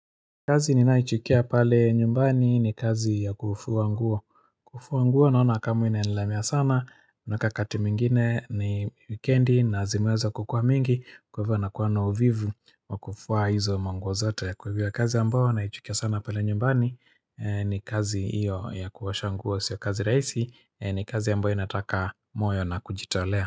Kazi ninayoichukia pale nyumbani ni kazi ya kufua nguo kufua nguo naona kama inanilemea sana na wakati mwingine ni wikendi na zimeanza kukua mingi Kwa hivyo na kuwa uvivu wa kufua hizo nguo zote Kwa hivyo kazi ambayo naichukia sana pale nyumbani ni kazi iyo ya kuosha nguo sio kazi raisi ni kazi ambayo inataka moyo na kujitolea.